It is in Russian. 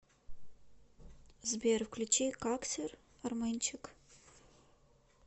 сбер включи каксер арменчик